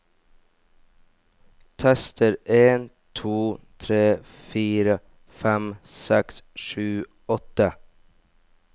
Tester en to tre fire fem seks sju åtte